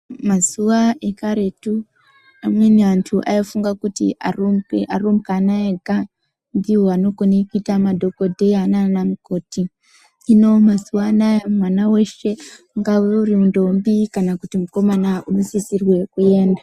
Mazuwa ekaretu amweni antu aifunga kuti arume ega ndivo vanokona kuita madhokodheya nana mukoti hino mazuva anawa mwana weshe ungava uri ndombi kana mukomana anosisirwa kuenda.